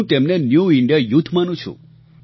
હું તેમને new India youth માનું છું